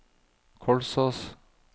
Kolsås